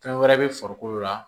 Fɛn wɛrɛ bɛ farikolo la